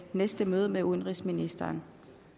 næste møde med udenrigsministeren